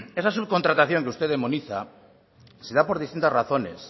esa subcontratación que usted demoniza se da por distintas razones